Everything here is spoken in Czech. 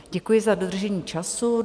Děkuji za dodržení času.